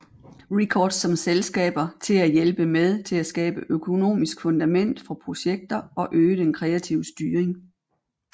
Records som selskaber til at hjælpe med til at skabe økonomisk fundament for projekter og øge den kreative styring